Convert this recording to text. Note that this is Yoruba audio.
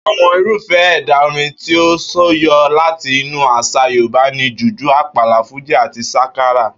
Àwo̩n irúfé̩ è̩dà orin tí ó súyo̩ láti inú às̩à Yorùbá ni jùjú, àpàlà, fújì àti sákárá